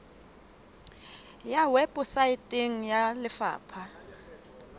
e ya weposaeteng ya lefapha